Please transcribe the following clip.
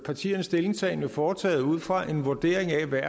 partiernes stillingtagen jo foretaget ud fra en vurdering af hvad